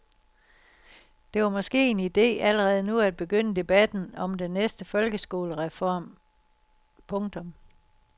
Det var måske en ide allerede nu at begynde debatten om den næste folkeskolereform. punktum